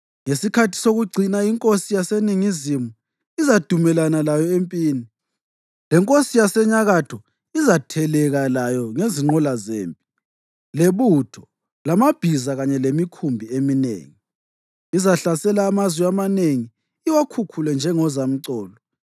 Ngesikhathi sokucina inkosi yaseNingizimu izadumelana layo empini, lenkosi yaseNyakatho izatheleka layo ngezinqola zempi, lebutho, lamabhiza kanye langemikhumbi eminengi. Izahlasela amazwe amanengi iwakhukhule njengozamcolo.